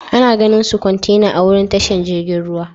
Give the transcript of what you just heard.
Ana ganin su kwantena a'wurin tashar jirigin ruwa.